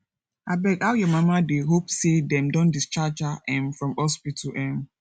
abeg how your mama dey hope sey dem don discharge her um from hospital um